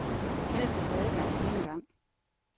Alle skal have adgang på een gang.